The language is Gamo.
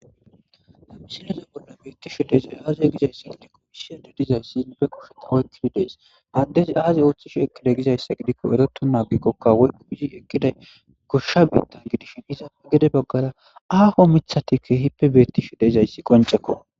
Ha misileza bola beettishe deese aazey gizayssa gidikko dedizayssi be koshea woykkidi dees addezi aaze ooththishu ekkida gizayssa gidikko ereto naagikkokka woyqqo izi ekkiday goshsha biitta gidishin izafe gede baggara aafo micthatikke hippe beettishu deezayssi qoncekko